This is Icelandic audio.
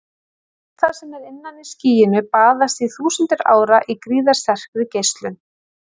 Allt það sem er innan í skýinu baðast í þúsundir ára í gríðarsterkri geislun.